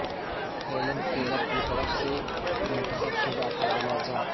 Helen Keller کی طرف سے منتخب شدہ حوالہ جات